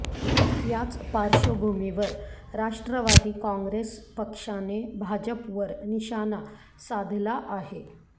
याच पार्श्वभूमीवर राष्ट्रवादी काँग्रेस पक्षाने भाजपवर निशाणा साधला आहे